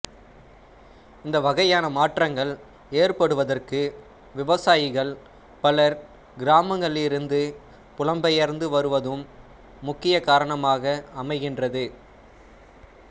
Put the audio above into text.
இந்த வகையான மாற்றங்கள் ஏற்படுவதற்கு விவசாயிகள் பலர் கிராமங்களிலிருந்து புலம்பெயர்ந்து வருவதும் முக்கியக் காரணமாக அமைகின்றது